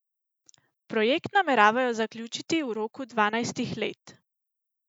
Projekt nameravajo zaključiti v roku dvanajstih let.